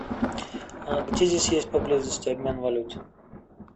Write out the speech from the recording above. а где здесь есть поблизости обмен валют